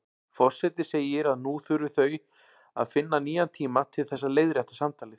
Forseti segir að nú þurfi þau að finna nýjan tíma til þess að leiðrétta samtalið.